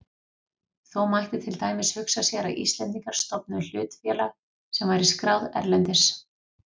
Þó mætti til dæmis hugsa sér að Íslendingar stofnuðu hlutafélag sem væri skráð erlendis.